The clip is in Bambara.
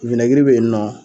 be yen nɔ